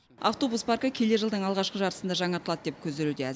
автобус паркі келер жылдың алғашқы жартысында жаңартылады деп көзделуде